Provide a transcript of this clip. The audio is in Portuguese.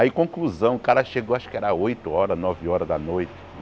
Aí, conclusão, o cara chegou, acho que era oito horas, nove horas da noite.